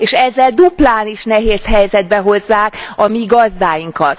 És ezzel duplán is nehéz helyzetbe hozzák a mi gazdáinkat.